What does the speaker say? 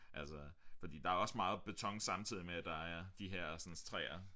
Altså fordi der er også meget beton samtidig med at der er de hersens træer